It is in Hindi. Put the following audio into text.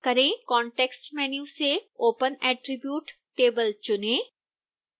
context menu से open attribute table चुनें